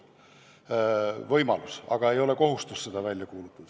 On võimalik, aga ei ole kohustuslik seda välja kuulutada.